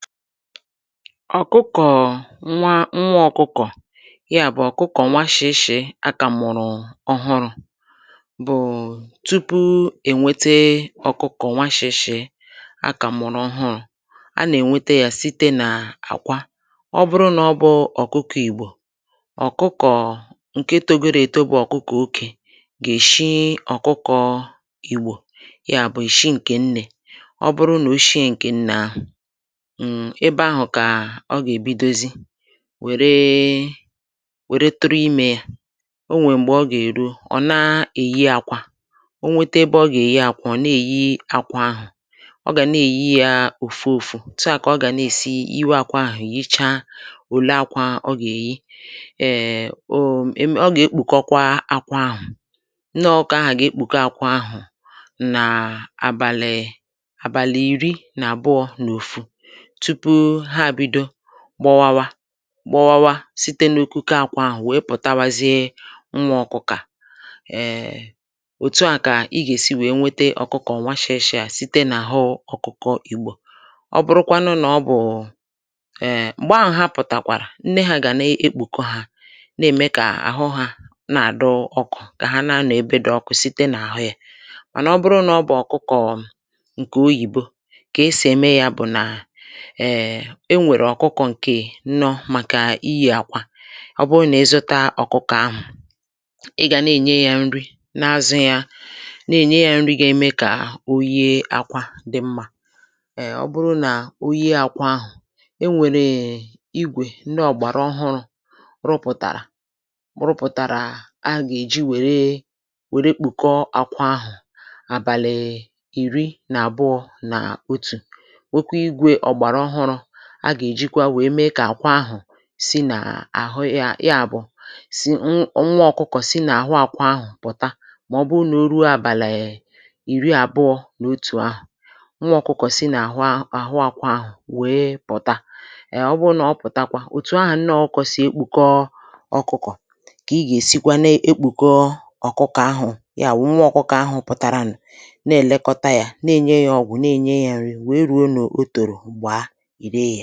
Ọkụkọ nwa nwa ọkụkọ, ya bụ̀ ọkụkọ nwa shi̇ shì akà mụ̀rụ̀ ọhụrụ̇, bụ̀ tupu ènwete ọkụkọ nwa shi̇ shì akà mụ̀rụ̀ ọhụrụ̇, a nà-ènwete yȧ site nà àkwa, ọ bụrụ nà ọ bụrụ ọkụkọ ìgbò, ọkụkọ ǹke togoro èto bù ọ̀kụkọ̀ okè gà-èshi ọkụkọ ìgbò, ya bụ̀ eshi ǹkè nnè, ọ bụrụ nà o shie ǹkè nné ahụ ebe ahù kà ọ gà-èbidozi wère wère tụrụ imė yȧ, o nwè m̀gbè ọ gà-èro ọ̀ na-èyi akwa, o nwete ebe ọ gà-èyi akwa ọ̀ na-èyi akwa ahù, ọ gà na-èyi ya òfu òfu, otụà kà ọ gà na-èsi yiwė akwa ahù yichaa òle akwa ọ gà-èyi, um um ọ gà-èkpùkọkwa akwa ahù, nné ọkụkọ ahù ga-ekpùke akwa ahù nà àbàlì àbàlì irì nà àbụọ̇ n’ofu tupu ha ebido gbọwawa gbọwawa site n’okuku àkwà ahụ̀ wèe pụ̀tawazie nwȧ ọkụkọ à, um òtu à kà ị gà-èsi wèe nwete ọkụkọ ǹwàshị̀ịchị à site n’àhụ ọkụkọ ìgbò, ọ bụrụkwanụ nà ọ bụ̀ụ̀ um m̀gbè ahụ̀ ha pụ̀tàkwàrà nne ha gà na-ekpùkọ̇ hȧ na-ème kà àhụ hȧ na-àdụ ọkụ̇ kà ha na-anọ̀ ebe dị̇ ọkụ̇ site n’àhụ yȧ, mànà ọ bụrụ nà ọ bụ̀ ọkụkọ ǹkè oyìbo kà esì ème ya bụ̀ nà um e nwèrè ọkụkọ ǹkè nnọ màkà ihi̇ àkwa, ọ bụrụ nà ị zuta ọkụkọ ahụ̀ ị gà na-ènye ya nri na-azụ̇ ya, na-ènye ya nri gà-ème kà oyie akwa dị̇ mmȧ, um ọ bụrụ nà oyie akwa ahụ̀, e nwèrè è igwè ndị ọ̀gbàrà ọhụrụ̇ rụpụ̀tàrà rụpụ̀tàrà agà-èji wère wère kpùkọ akwa ahụ̀ àbàlị̀ ìri nà àbụọ nà otù, nwekwa ìgwè ọ̀gbàrà ọhụrụ a gà-èjikwa wee mee kà àkwa ahụ̀ si nà àhụ ya, ya bu nwa ọkụkọ si nà àhụ akwa ahụ̀ pụ̀ta mà ọ bụ nà o ruo abali ìri àbụọ na otù ahụ̀, nwa ọkụkọ si nà àhụ ahụ akwa ahụ̀ wèe pụ̀ta um ọ bụ nà ọ pụ̀takwa, òtù ahụ̀ nné ọkụkọ sì ekpùkọ ọkụkọ kà ị gà-èsikwa na-èkpùkọ ọkụkọ ahụ̀ ya wụ̀ nwa ọkụkọ ahụ̀ pụ̀tàrà nà nà ẹ̀lẹkọta yȧ nà ènye yȧ ọgwụ nà-ènye yȧ nri wee ruo nà o tòrò gbaa, ire ya.